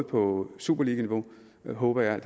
på superliganiveau håber jeg